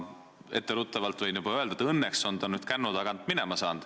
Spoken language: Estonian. Etteruttavalt võin öelda, et õnneks on ta nüüd kännu tagant minema saanud.